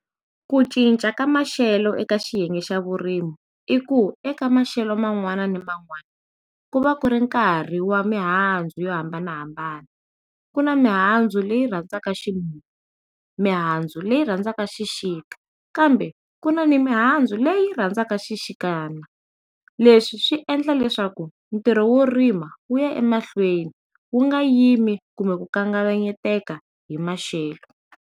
Ku cinca ka maxelo eka xiyenge xa vurimi i ku eka maxelo man'wani na man'wani ku va ku ri nkarhi wa mihandzu yo hambanahambana ku na mihandzu leyi rhandzaka ximumu mihandzu leyi rhandzaka xixika kambe ku na ni mihandzu leyi rhandzaka xixikana leswi swi endla leswaku ntirho wo rima wuya emahlweni wu nga yimi kumbe ku kavanyetaka hi maxelo.